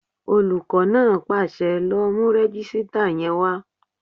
Olùkọ́ náà pàṣẹ, "lọ mú rẹ́jísítà yẹn wá!"